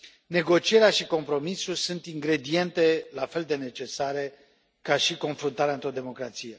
Negocierea și compromisul sunt ingrediente la fel de necesare ca și confruntarea într o democrație.